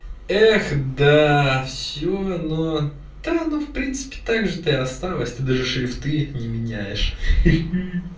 эх да все но да ну в принципе так же ты осталась ты даже шрифты не меняешь хи-хи